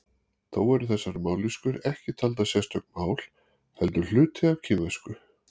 Þó eru þessar mállýskur ekki taldar sérstök mál heldur hluti af kínversku.